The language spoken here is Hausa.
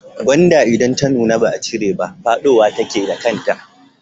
Gwanda idan ta nuna ba a cire ta ba fadowa take da kanta.